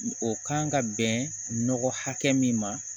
O kan ka bɛn nɔgɔ hakɛ min ma